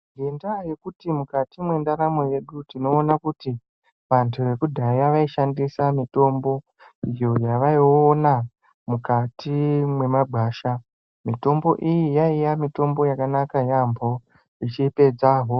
Ngwndaa yokuti mukati mwendaramo yedu tinoona kuti vandu vekudhaya vaishnadisa mitombo iyoo yaviona mukati mwemagwasha mitombo iyi yaiya mitombo yakanaka yaambo ichipedza hosha.